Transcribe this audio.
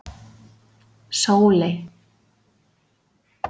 Sóley